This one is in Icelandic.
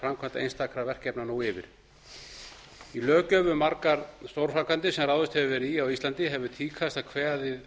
framkvæmd einstakra verkefna nú yfir í löggjöf um margar stórframkvæmdir sem ráðist hefur verið í á íslandi hefur tíðkast að kveðið